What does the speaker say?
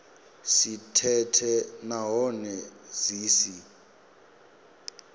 si thethe nahone dzi si